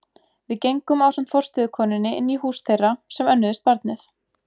Við gengum ásamt forstöðukonunni inn í hús þeirra sem önnuðust barnið.